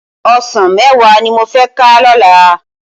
Òsán mèwá ni mó fè ká lòlá